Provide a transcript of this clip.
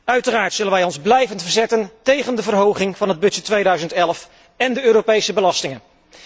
Uiteraard zullen wij ons blijven verzetten tegen de verhoging van de begroting 2011 en de Europese belastingen.